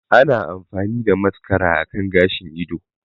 Ana amfani da mascara akan gashin ido